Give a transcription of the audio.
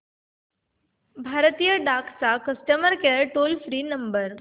भारतीय डाक चा customer care toll free number